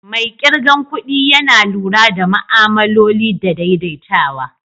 Mai kirgan kudi Yana lura da ma'amloli da daidaitawa.